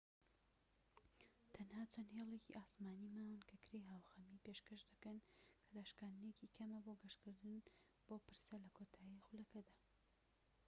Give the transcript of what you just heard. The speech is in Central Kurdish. تەنها چەند هێڵێکی ئاسمانی ماون کە کرێی هاوخەمی پێشکەش دەکەن کە داشکاندنێکی کەمە بۆ گەشتکردن بۆ پرسە لە کۆتا خولەکدا